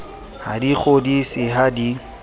ha di kgodise ha di